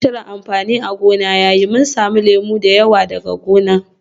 It has been a good season so we will be harvesting plenty of oranges from our farm.